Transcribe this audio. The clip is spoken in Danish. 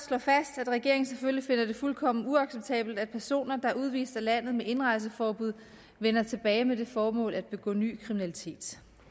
slå fast at regeringen selvfølgelig finder det fuldkommen uacceptabelt at personer der er udvist af landet med indrejseforbud vender tilbage med det formål at begå ny kriminalitet